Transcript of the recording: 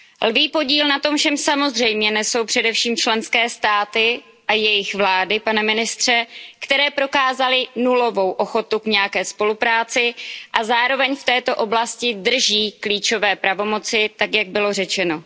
Lví podíl na tom všem samozřejmě nesou především členské státy a jejich vlády, pane ministře, které prokázaly nulovou ochotu k nějaké spolupráci a zároveň v této oblasti drží klíčové pravomoci, tak jak bylo řečeno.